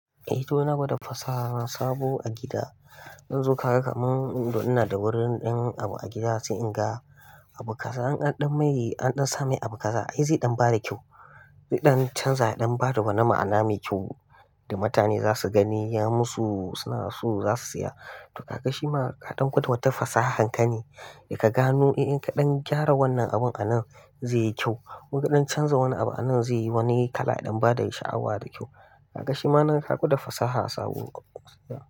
Eh to ina gwada fasaha sabo a gida. Yanzu kaga kamar ina da wurin ɗan abu a gida sai in ga abu kaza an ɗan mai an ɗan sa mai abu kaza. Ai zai ɗan ba da kyau, zai ɗan canza ya ɗan ba da wani ma'ana mai kyau da mutane za su gani ya musu suna so za su siya. To ka ga shi ma kaɗan gwada wata fasahar ka ne. Da ka gano eh, innnka ɗan gyara wannan abun a nan zai yi kyau. Ko in ka dan canza wani abu a nan zai yi wani kala ya ɗan ba da sha'awa da kyau. Ka ga shi ma nan ka gwada fasaha sabo.